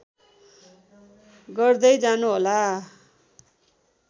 गर्दै जानुहोला